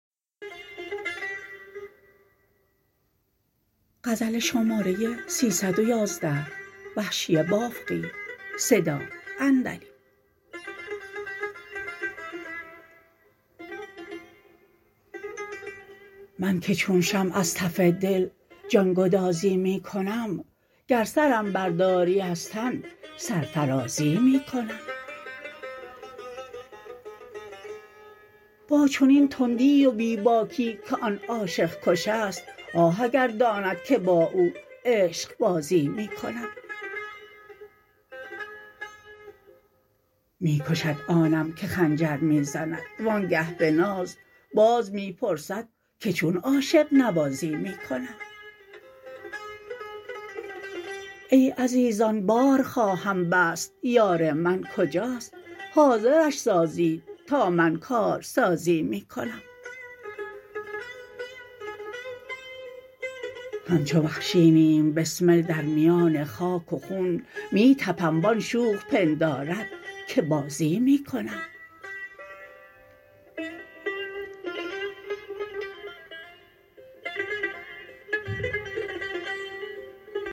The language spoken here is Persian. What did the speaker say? من که چون شمع از تف دل جانگدازی می کنم گر سرم برداری از تن سرفرازی می کنم با چنین تندی و بی باکی که آن عاشق کشست آه اگر داند که با او عشقبازی می کنم می کشد آنم که خنجر می زند وانگه به ناز باز می پرسد که چون عاشق نوازی می کنم ای عزیزان بار خواهم بست یار من کجاست حاضرش سازید تا من کار سازی می کنم همچو وحشی نیم بسمل در میان خاک و خون می تپم و آن شوخ پندارد که بازی می کنم